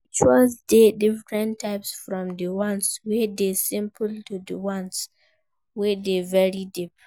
Rituals de different types from di ones wey de simple to di ones wey de very deep